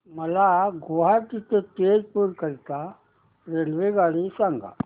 मला गुवाहाटी ते तेजपुर करीता रेल्वेगाडी सांगा